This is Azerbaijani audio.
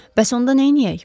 Bəs onda neyləyək?